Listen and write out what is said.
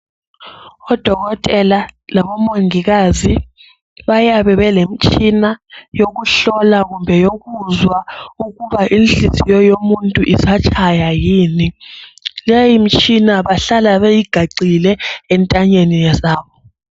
Odokotela labomongikazi bayabe belemitshina yokuhlola kumbe yokuzwa ukuba inhliziyo yomuntu isatshaya yini, leyi mitshina bahlale beyigaxile entanyeni zabo